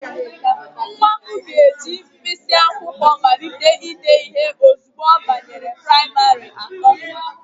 Nwa m ga-eji mkpịsị akwụkwọ malite ide ihe ozugbo ọ banyere praịmarị atọ.